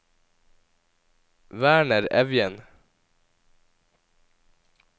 Werner Evjen